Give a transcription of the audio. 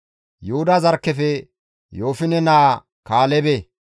Yuhuda zarkkefe Yoofine naa Kaalebe,